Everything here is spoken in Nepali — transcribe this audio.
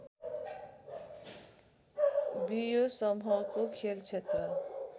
बियो समूहको खेलक्षेत्र